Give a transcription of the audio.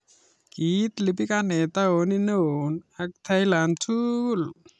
Kiit lipikaneet taoniit neoo ak thailand tugul